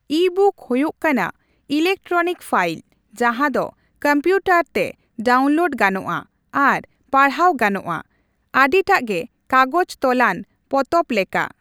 Ebook ᱦᱳᱭᱳᱜ ᱠᱟᱱᱟ electronic file ᱡᱟᱦᱟᱸᱫᱚ ᱠᱚᱢᱯᱤᱭᱩᱴᱟᱨ ᱛᱮ ᱰᱟᱣᱩᱱᱞᱳᱰ ᱜᱟᱱᱚᱜᱼᱟ ᱟᱨ ᱯᱟᱲᱦᱟᱣ ᱜᱟᱱᱚᱜᱼᱟ, ᱟᱰᱤᱴᱟᱜᱮ ᱠᱟᱜᱚᱡᱽ ᱛᱚᱞᱟᱱ ᱯᱚᱛᱚᱵ ᱞᱮᱠᱟ ᱾